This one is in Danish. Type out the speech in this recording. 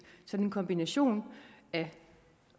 en kombination af